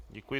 Děkuji.